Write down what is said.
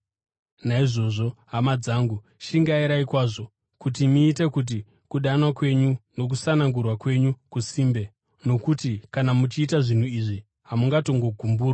Naizvozvo, hama dzangu, shingairai kwazvo kuti muite kuti kudanwa kwenyu nokusanangurwa kwenyu kusimbe. Nokuti kana muchiita zvinhu izvi, hamungatongogumburwi,